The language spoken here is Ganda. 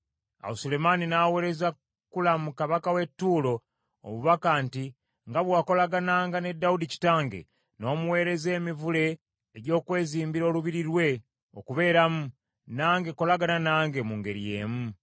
Awo Sulemaani n’aweereza Kulamu kabaka w’e Ttuulo obubaka nti, “Nga bwe wakolagananga ne Dawudi kitange, n’omuweereza emivule egy’okwezimbira olubiri lwe okubeeramu, nange kolagana nange mu ngeri y’emu.